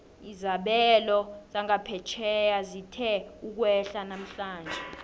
izabelo zangaphetjheya zithe ukwehla namhlanje